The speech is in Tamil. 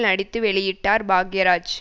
நடித்து வெளியிட்டார் பாக்யராஜ்